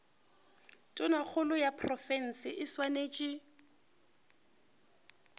tonakgolo ya profense e swanetše